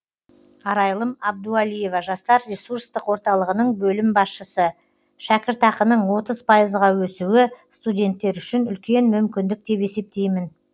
арайлым абдуалиева жастар ресурстық орталығының бөлім басшысы шәкіртақаның отыз пайызға өсуі студенттер үшін үлкен мүмкіндік деп есептеймін